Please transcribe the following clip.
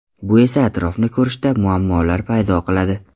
Bu esa atrofni ko‘rishda muammolar paydo qiladi.